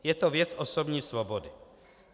Je to věc osobní svobody.